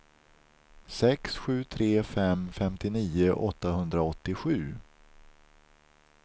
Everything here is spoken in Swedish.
sex sju tre fem femtionio åttahundraåttiosju